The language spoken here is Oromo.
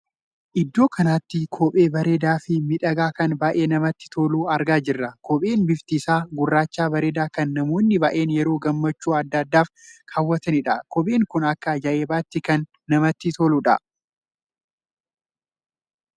Iddoo kanatti kophee bareedaa fi miidhagaa kan baay'ee namatti toluu argaa jirra. kopheen bifti isaa gurraacha bareedaa kan namoonni baay'een yeroo gammachuu addaa addaaf kaawwatanidha. kopheen kun akka ajaa'ibaatti kan namatti toluudha.